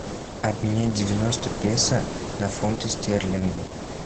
обменять девяносто песо на фунты стерлинги